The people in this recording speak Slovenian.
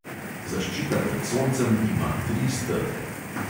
Zaščita pred soncem ima tri stebre.